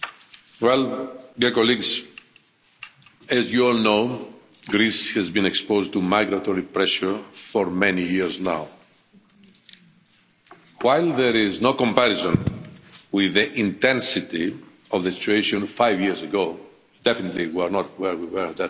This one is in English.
Madam President, dear colleagues, as you all know, Greece has been exposed to migratory pressure for many years now. While there is no comparison with the intensity of the situation five years ago definitely, we are not where we were at that time